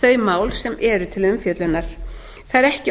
þau mál sem eru til umfjöllunar það er ekki